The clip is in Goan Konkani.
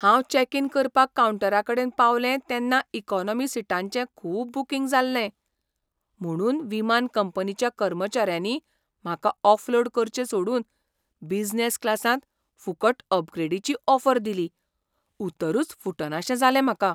हांव चेक इन करपाक काउंटराकडेन पावलें तेन्ना इकॉनॉमी सिटांचें खूब बुकींग जाल्लें, म्हुणून विमान कंपनीच्या कर्मचाऱ्यांनी म्हाका ऑफलोड करचें सोडून बिझनेस क्लासांत फुकट अपग्रेडीची ऑफर दिली. उतरूच फुटनाशें जालें म्हाका.